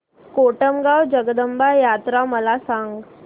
कोटमगाव जगदंबा यात्रा मला सांग